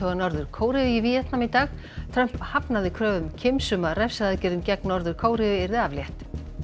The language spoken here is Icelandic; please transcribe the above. Norður Kóreu í Víetnam í dag Trump hafnaði kröfum Kims um að refsiaðgerðum gegn Norður Kóreu yrði aflétt